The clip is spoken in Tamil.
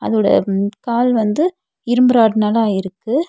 இதோட ம் கால் வந்து இரும்பு ராடுனால ஆயிருக்கு.